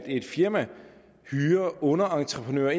et firma hyrer underentreprenører